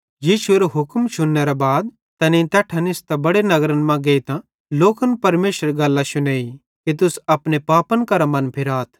यीशुएरो हुक्म शुन्नेरे बाद तैनेईं तैट्ठां निस्तां बड़े नगरन मां गेइतां लोकन परमेशरेरी गल्लां शुनेई कि तुस अपने पापन करां मनफिराथ